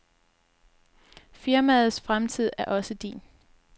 Firmaets fremtid er også din.